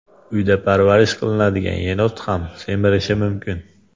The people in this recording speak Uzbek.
Uyda parvarish qilinadigan yenot ham semirishi mumkin.